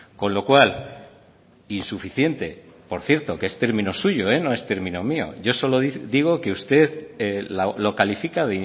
con lo cual insuficiente por cierto que es término suyo no es término mío yo solo digo que usted lo califica